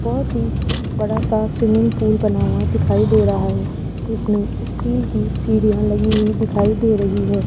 बहोत ही बड़ा सा स्विमिंग पूल बना हुआ दिखाई दे रहा है जिसमें स्टील की सीढ़ियां लगी हुई दिखाई दे रही है।